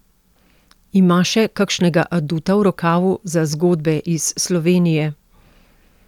Ima še kakšnega aduta v rokavu za zgodbe iz Slovenije?